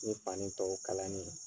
Ni fani tɔw kalani ye.